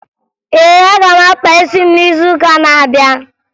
Ee, aga m akpa isi m n'izuụka na-abịa